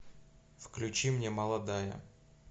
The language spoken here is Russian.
включи мне молодая